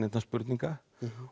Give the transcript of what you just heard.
spurninga